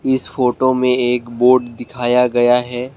इस फोटो में एक बोर्ड दिखाया गया है।